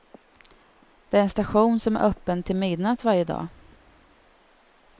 Det är en station som är öppen till midnatt varje dag.